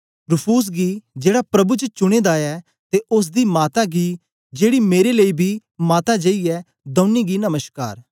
Rufus गी जेड़ा प्रभु च चुने दा ऐ ते ओसदी माता गी जेड़ी मेरे लेई बी माता जेई ऐ दौनी गी नमश्कार